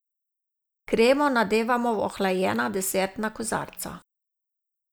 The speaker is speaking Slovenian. Kremo nadevamo v ohlajena desertna kozarca.